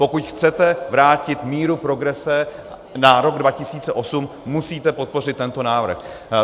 Pokud chcete vrátit míru progrese na rok 2008, musíte podpořit tento návrh.